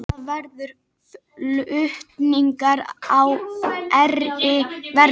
Það verður flutningur á þeirri verslun